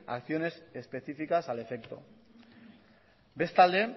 acciones específicas al efecto bestalde